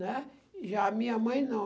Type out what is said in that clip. né? Já a minha mãe, não.